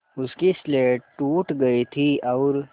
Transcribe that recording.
उसकी स्लेट टूट गई थी और